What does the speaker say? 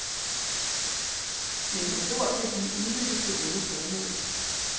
Men hans ord kan blive udnyttet til onde formål.